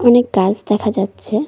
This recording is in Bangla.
অনেক গাছ দেখা যাচ্ছে।